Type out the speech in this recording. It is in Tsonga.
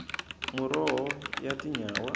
muroho ya tinyawa